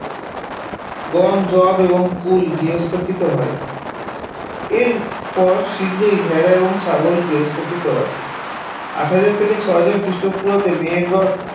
গম, যব এবং কুল গার্হস্থ্যকৃত হয়, এরপর শীঘ্রই ভেড়া এবং ছাগল গার্হস্থ্যকৃত হয় আট হাজার থেকে ছয় হাজার খ্রিস্টপূর্বাব্দে মেহেরগড়